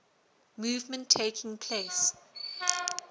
movement taking place